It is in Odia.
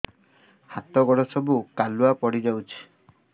ହାତ ଗୋଡ ସବୁ କାଲୁଆ ପଡି ଯାଉଛି